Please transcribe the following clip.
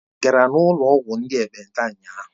Ị gara n'ụlọ ọgwụ ndị ekpenta ụnyahụ?